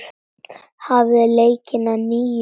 Hafið leikinn að nýju.